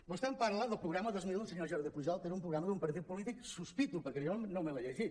vostè em parla del programa dos mil del senyor jordi pujol que era un programa d’un partit polític sospito perquè jo no me l’he llegit